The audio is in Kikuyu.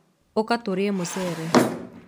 ũka tũrĩe mũcere.